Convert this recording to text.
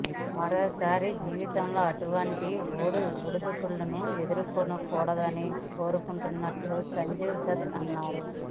మరోసారి జీవితంలో అటువంటి ఒడిదుడుకులను ఎదుర్కోకూడదని కోరుకుంటున్నట్లు సంజయ్ దత్ అన్నారు